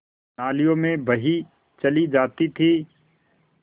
नालियों में बही चली जाती थी